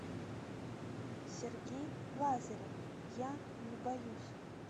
сергей лазарев я не боюсь